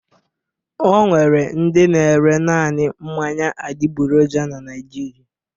Ọ nwere ndị na-ere naanị mmanya adịgboroja na Naịjirịa.